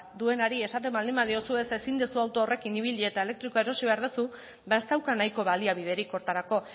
duenari esaten badiozu ez ezin duzu auto horrekin ibili eta elektrikoa erosi behar duzu ba ez dauka nahiko baliabiderik horretarako